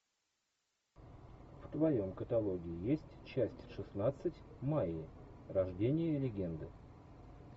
в твоем каталоге есть часть шестнадцать майя рождение легенды